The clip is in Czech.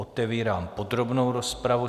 Otevírám podrobnou rozpravu.